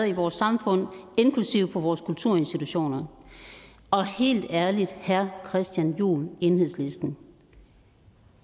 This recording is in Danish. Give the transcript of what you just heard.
i vores samfund inklusive på vores kulturinstitutioner og helt ærligt herre christian juhl enhedslisten